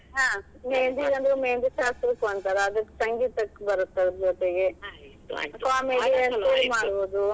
ಹಾ ಮೇಹಂದಿ ಅಂದ್ರ ಮೇಹಂದಿ ಶಾಸ್ತ್ರಕ್ ಒಂಥರ ಅದಕ್ ಸಂಗೀತಕ್ ಬರುತ್ ಅದ್ರ್ ಜೊತೆಗೆ .